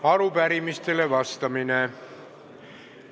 Arupärimistele vastamine.